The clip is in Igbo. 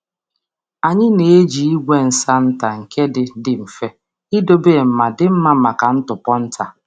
Anyị na-eji igwe nsa nta nke dị mfe idobe ma dị mma maka ntụpọ nta.